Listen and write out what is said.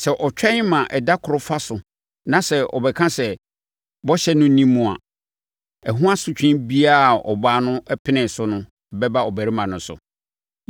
Sɛ ɔtwɛn ma ɛda koro fa so na sɛ ɔbɛka sɛ bɔhyɛ no nni mu a, ɛho asotwe biara a ɔbaa no penee so no bɛba ɔbarima no so.”